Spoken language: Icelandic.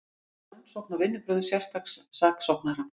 Vill rannsókn á vinnubrögðum sérstaks saksóknara